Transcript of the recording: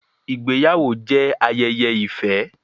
Ìgbáyàwó jẹ́ ayẹyẹ ìfẹ́.